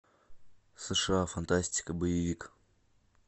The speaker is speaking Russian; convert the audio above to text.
сша фантастика боевик